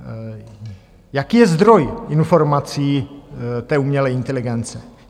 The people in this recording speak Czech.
Jaký je zdroj informací té umělé inteligence?